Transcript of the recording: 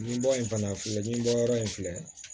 Nin bɔ in fana filɛ nin ye bɔyɔrɔ in filɛ